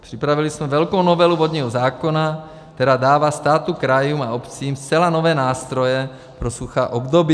Připravili jsme velkou novelu vodního zákona, která dává státu, krajům a obcím zcela nové nástroje pro suchá období.